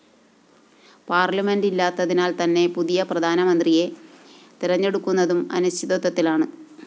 parliament ഇല്ലാത്തതിനാല്‍ തന്നെ പുതിയ പ്രധാനമന്ത്രിയെ തെരഞ്ഞെടുക്കുന്നതും അനിശ്ചിതത്വത്തിലാണ്